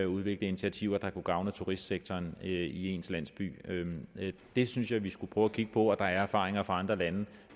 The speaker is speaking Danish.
udvikle initiativer der kunne gavne turistsektoren i ens landsby det synes jeg vi skulle prøve at kigge på og der er erfaringer fra andre lande